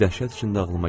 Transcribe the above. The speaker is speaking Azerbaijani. Dəhşət içində ağlıma gəldi.